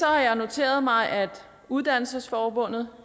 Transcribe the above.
jeg noteret mig at uddannelsesforbundet